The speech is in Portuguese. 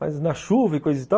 Mas na chuva e coisa e tal.